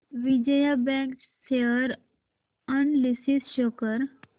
Vijaya bank share analysis show कर